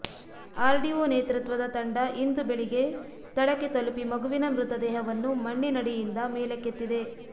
RDO ನೇತೃತ್ವದ ತಂಡ ಇಂದು ಬೆಳಿಗ್ಗೆ ಸ್ಥಳಕ್ಕೆ ತಲುಪಿ ಮಗುವಿನ ಮೃತದೇಹವನ್ನು ಮಣ್ಣಿನಡಿಯಿಂದ ಮೇಲಕ್ಕೆತ್ತಿದೆ